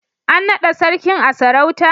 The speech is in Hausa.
An naɗa Sarkin a sarauta?